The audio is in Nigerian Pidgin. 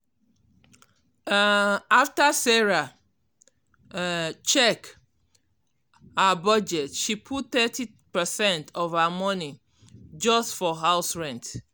um after sarah um check um her budget she put thirty percent of her money just for house rent.